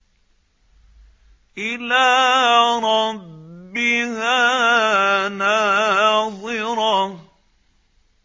إِلَىٰ رَبِّهَا نَاظِرَةٌ